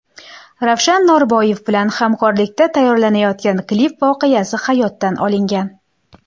Ravshan Norboyev bilan hamkorlikda tayyorlanayotgan klip voqeasi hayotdan olingan.